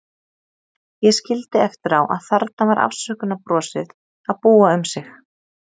Ég skildi eftir á að þarna var afsökunarbrosið að búa um sig.